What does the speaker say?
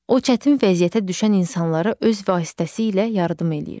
O çətin vəziyyətə düşən insanlara öz vasitəsilə yardım eləyir.